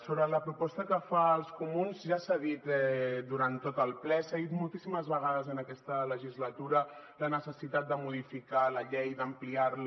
sobre la proposta que fan els comuns ja s’ha dit durant tot el ple s’ha dit moltíssimes vegades en aquesta legislatura la necessitat de modificar la llei d’ampliar la